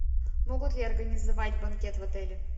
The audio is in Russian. могут ли организовать банкет в отеле